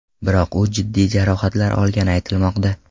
Biroq u jiddiy jarohatlar olgani aytilmoqda.